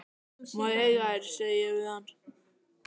Má ég eiga þær, segi ég við hann.